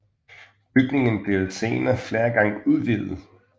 Bygningen blev senere flere gange udvidet